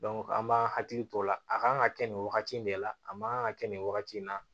an b'an hakili t'o la a kan ka kɛ nin wagati in de la a man kan ka kɛ nin wagati in na